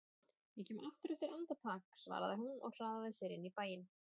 Ég kem aftur eftir andartak svaraði hún og hraðaði sér inn í bæinn.